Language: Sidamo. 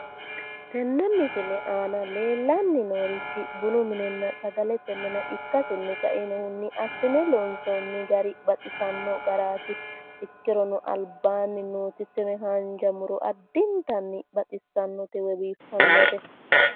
Tinne misile aana leellanni noorichi bunu minenna sagalete mine ikkasinni ka"inohunni assine loonsoonni gari baxisanno garaati ikkirono albaanni nooti tini haanja muro addinttanni baxissannote woy biiffannote